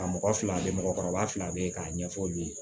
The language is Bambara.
Ka mɔgɔ fila bɛ mɔgɔkɔrɔba fila bɛ ye k'a ɲɛfɔ u ye